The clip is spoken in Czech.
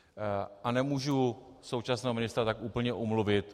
A nemůžu současného ministra tak úplně omluvit.